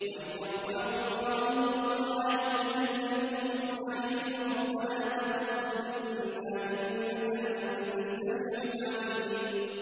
وَإِذْ يَرْفَعُ إِبْرَاهِيمُ الْقَوَاعِدَ مِنَ الْبَيْتِ وَإِسْمَاعِيلُ رَبَّنَا تَقَبَّلْ مِنَّا ۖ إِنَّكَ أَنتَ السَّمِيعُ الْعَلِيمُ